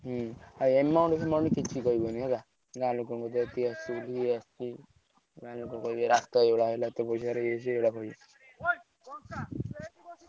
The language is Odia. ହୁଁ ଆଉ amount ଫେମାଉଣ୍ଟ ବିଷୟରେ କିଛି କହିବନି ଗାଁ ଲୋକ କହିବେ ଏଇ ରାସ୍ତା ହେଲା ଏତେ ପଇସାରେ ଇଏ ସିଏ ଏଇ ଗୋଡାକ କହିବେ।